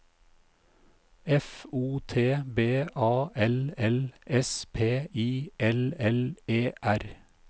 F O T B A L L S P I L L E R